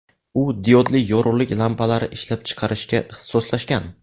U diodli yorug‘lik lampalari ishlab chiqarishga ixtisoslashgan.